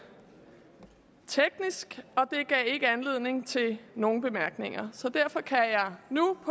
teknisk og det gav ikke anledning til nogen bemærkninger så derfor kan jeg nu